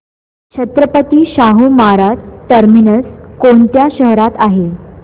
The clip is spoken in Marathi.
छत्रपती शाहू महाराज टर्मिनस कोणत्या शहरात आहे